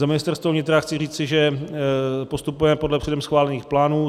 Za Ministerstvo vnitra chci říci, že postupujeme podle předem schválených plánů.